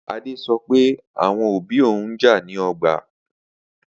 Ade so pe awon obi oun n ja ni ọgbà.